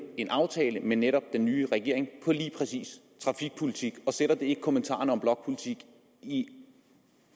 en aftale med netop den nye regering på lige præcis området trafikpolitik og sætter det ikke kommentarerne om blokpolitik i